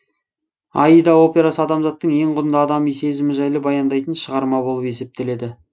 аида операсы адамзаттың ең құнды адами сезімі жайлы баяндайтын шығарма болып есептеледі